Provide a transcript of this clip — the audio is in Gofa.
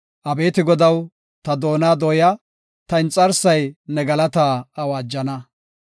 Abeeti Godaw, ta doona dooya; ta inxarsay ne galataa awaajana.